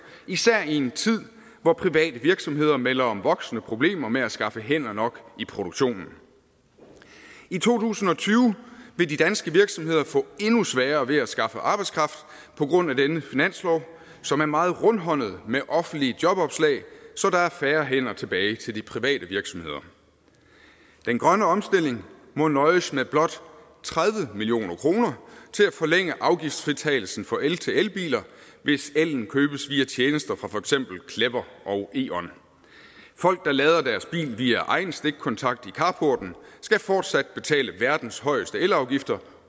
især i en tid hvor private virksomheder melder om voksende problemerne med at skaffe hænder nok i produktionen i to tusind og tyve vil de danske virksomheder få endnu sværere ved at skaffe arbejdskraft på grund af denne finanslov som er meget rundhåndet med offentlige jobopslag så der er færre hænder tilbage til de private virksomheder den grønne omstilling må nøjes med blot tredive million kroner til at forlænge afgiftsfritagelsen for elbiler hvis elen købes via tjenester fra for eksempel clever og e on folk der lader deres bil via egen stikkontakt i carporten skal fortsat betale verdens højeste elafgifter